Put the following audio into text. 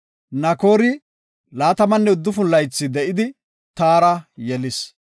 Nakoori 29 laythi de7idi, Taara yelis.